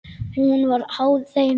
Hún var háð þeim.